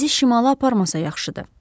Bizi şimala aparmasa yaxşıdır.